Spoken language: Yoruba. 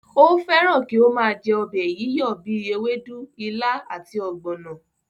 Ó fẹ́ràn kí ó máa jẹ́ ọbẹ̀ yíyọ̀ bíi ewédú, ilá àti ọ̀gbọ̀nọ̀